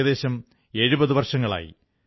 ഏകദേശം 70 വർഷങ്ങളായി